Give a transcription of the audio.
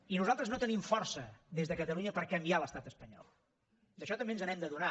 i nosaltres no tenim força des de catalunya per canviar l’estat espanyol d’això també ens n’hem d’adonar